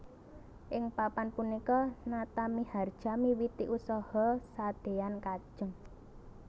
Ing Papan punika Natamiharja miwiti usaha sadean kajeng